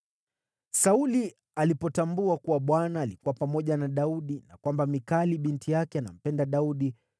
Sauli alipotambua kuwa Bwana alikuwa pamoja na Daudi na kwamba Mikali binti yake anampenda Daudi,